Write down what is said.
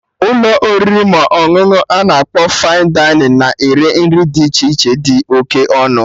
Ụlọ oriri ma ọṅụṅụ ana akpọ 'Fine Dining' na-ere nri dị iche iche dị oké ọnụ